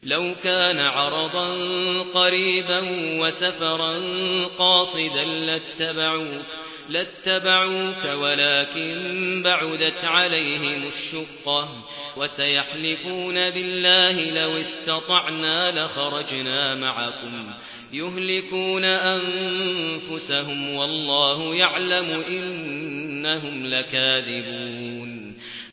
لَوْ كَانَ عَرَضًا قَرِيبًا وَسَفَرًا قَاصِدًا لَّاتَّبَعُوكَ وَلَٰكِن بَعُدَتْ عَلَيْهِمُ الشُّقَّةُ ۚ وَسَيَحْلِفُونَ بِاللَّهِ لَوِ اسْتَطَعْنَا لَخَرَجْنَا مَعَكُمْ يُهْلِكُونَ أَنفُسَهُمْ وَاللَّهُ يَعْلَمُ إِنَّهُمْ لَكَاذِبُونَ